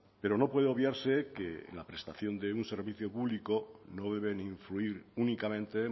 pero no puede obviarse que la prestación de un servicio público no deben influir únicamente